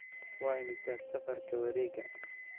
Waa imisa safarka wareega?